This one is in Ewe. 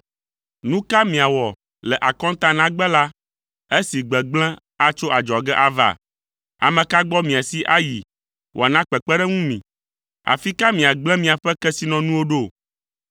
Nu ka miawɔ le akɔntanagbe la esi gbegblẽ atso adzɔge ava? Ame ka gbɔ miasi ayi wòana kpekpeɖeŋu mi? Afi ka miagble miaƒe kesinɔnuwo ɖo?